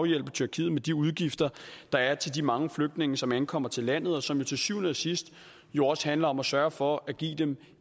hjælpe tyrkiet med de udgifter der er til de mange flygtninge som ankommer til landet og som jo til syvende og sidst jo også handler om at sørge for at give dem